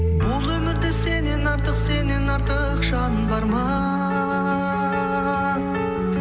бұл өмірде сеннен артық сеннен артық жан бар ма